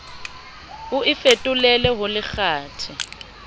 o e fetolele ho lekgathe